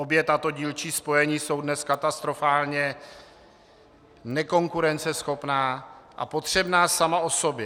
Obě tato dílčí spojení jsou dnes katastrofálně nekonkurenceschopná a potřebná sama o sobě.